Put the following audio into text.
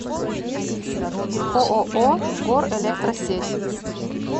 ооо горэлектросеть